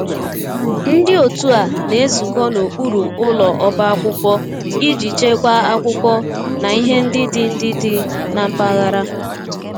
Ndị otu a na-ezukọ n'okpuru ụlọ ọba akwụkwọ iji chekwaa akwụkwọ na ihe ndị dị ndị dị na mpaghara